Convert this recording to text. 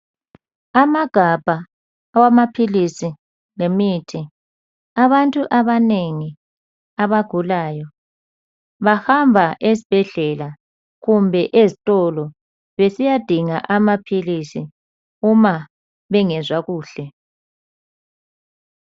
Amagabha awamaphilizi lemithi, abantu abanengi abagulayo bahamba esibhedlela kumbe ezitolo besiyadinga amaphilizi uma bengezwa kuhle.